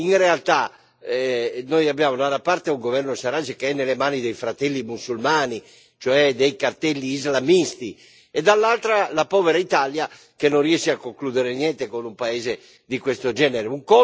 In realtà, noi abbiamo, da una parte, un governo Sarraj che è nelle mani dei Fratelli Musulmani, cioè dei cartelli islamisti e, dall'altra, la povera Italia che non riesce a concludere niente con un paese di questo genere.